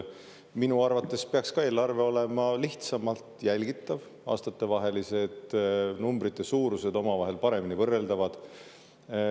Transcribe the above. Minu arvates peaks ka eelarve olema lihtsamalt jälgitav, aastatevahelised numbrite suurused omavahel paremini võrreldavad.